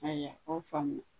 Haya o faamu na.